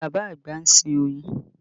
Bàbá àgbà ń sin oyin